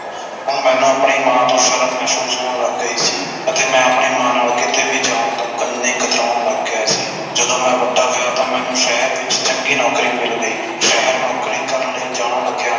ਹੁਣ ਮੈਨੂੰ ਆਪਣੀ ਮਾਂ ਤੋਂ ਸ਼ਰਮ ਮਹਿਸੂਸ ਹੋਣ ਲੱਗ ਗਈ ਸੀ ਤੇ ਮੈਂ ਆਪਣੀ ਮਾਂ ਨਾਲੋਂ ਕਿੱਤੇ ਵੀ ਜਾਣ ਤੇ ਉਨ੍ਹੀ ਹੀ ਕਤਰਾਉਣ ਲੱਗ ਗਿਆ ਸੀ ਜਦੋ ਮੈਂ ਵੱਡਾ ਹੋਇਆ ਤਾ ਮੈਨੂੰ ਸ਼ਹਿਰ ਵਿਚ ਚੰਗੀ ਨੌਕਰੀ ਮਿਲ ਗਈ ਸ਼ਹਿਰ ਨੌਕਰੀ ਕਰਨ ਲਈ ਜਾਣ ਲੱਗਿਆ